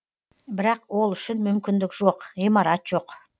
бірақ ол үшін мүмкіндік жоқ ғимарат жоқ